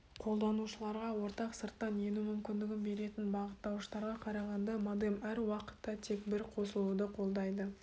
қолданушыларға ортақ сырттан ену мүмкіндігін беретін бағыттауыштарға қарағанда модем әр уақытта тек бір қосылуды қолдайды